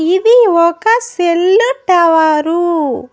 ఇది ఒక cell tower .